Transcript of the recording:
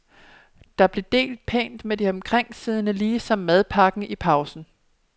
Der blev delt pænt med de omkringsiddende lige som madpakken i pausen.